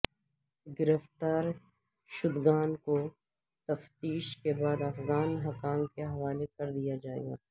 گرفتار شدگان کو تفتیش کے بعد افغان حکام کے حوالے کر دیا جائے گا